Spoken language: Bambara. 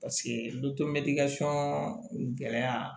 Paseke gɛlɛya